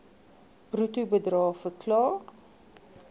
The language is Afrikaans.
bruto bedrae verklaar